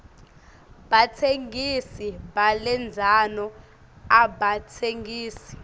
batsengisi balendzano abatsengisi